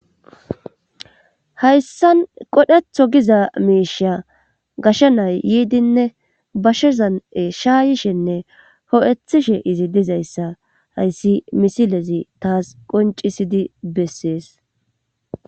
Hayssan qodhetho giza miisha gasha nay yiidinne bashezan7e shaayishenne ho7ethishe izi dizayssa hayssi misilezi taas qoncisidi bessees.